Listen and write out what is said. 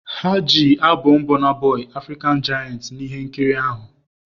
Ha ji albọm Burna Boy "African giant" na ihe nkiri ahụ.